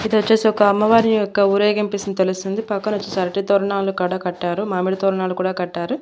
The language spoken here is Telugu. ఇది వచ్చేసి ఒక అమ్మవారి యొక్క ఊరేగింపిస్తుంది తెలుస్తుంది పక్కన వచ్చేసి అరటి తోరణాలు కాడా కట్టారు మామిడి తోరణాలు కూడా కట్టారు.